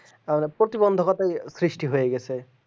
প্রতিবন্ধকতা সৃষ্টি হয়ে গেছে